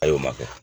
A y'o ma kɛ